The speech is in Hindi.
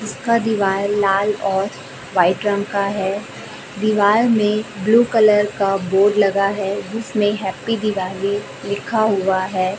इसका दिवाल लाल और व्हाइट रंग का है दीवाल में ब्लू कलर का बोर्ड लगा है जिसमें है प्पी दिवाली लिखा हुआ है।